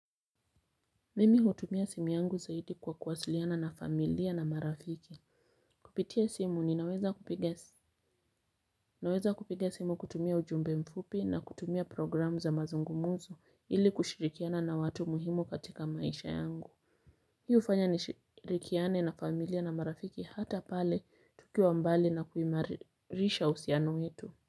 Mimi hutumia simi yangu zaidi kwa kuwasiliana na familia na marafiki. Kupitia simu ninaweza kupiga naweza kupiga simu kutumia ujumbe mfupi na kutumia programu za mazungumuzo ili kushirikiana na watu muhimu katika maisha yangu. Hi hufanya ni shirikiane na familia na marafiki hata pale tukiwa mbali na kuimarisha uhusiano wetu.